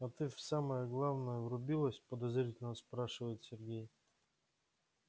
а ты в самое главное врубилась подозрительно спрашивает сергей